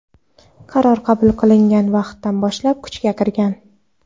Qaror qabul qilingan vaqtdan boshlab kuchga kirgan.